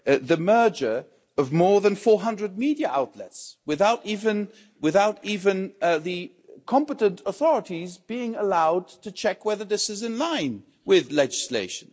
The merger of more than 400 media outlets without the competent authorities even being allowed to check whether this is in line with legislation.